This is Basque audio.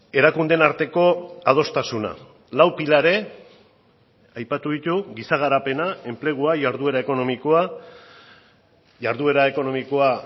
erakundeen arteko adostasuna lau pilare aipatu ditu giza garapena enplegua jarduera ekonomikoa jarduera ekonomikoa